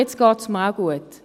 Jetzt geht es mir auch gut.